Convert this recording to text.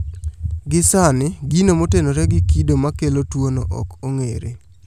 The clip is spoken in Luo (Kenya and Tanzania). Gi sani gino motenore gi kedo makelo tuo no ok ong'ere